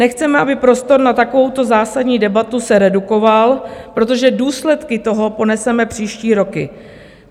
Nechceme, aby prostor na takovouto zásadní debatu se redukoval, protože důsledky toho poneseme příští roky.